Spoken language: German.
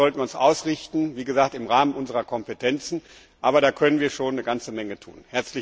Darauf sollten wir uns ausrichten, wie gesagt im Rahmen unserer Kompetenzen, aber da können wir schon eine ganze Menge tun.